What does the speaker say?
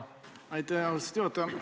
Aitäh, austatud juhataja!